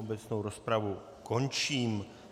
Obecnou rozpravu končím.